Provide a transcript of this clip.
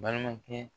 Balimakɛ